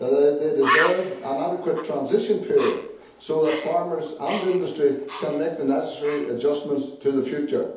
They deserve an adequate transition period so that farmers and industry can make the necessary adjustments for the future.